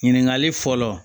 Ɲininkali fɔlɔ